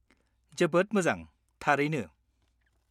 -जोबोद मोजां, थारैनो।